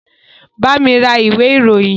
Bami ra ìwé ìròyìn!